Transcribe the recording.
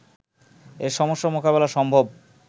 এ সমস্যা মোকাবেলা সম্ভব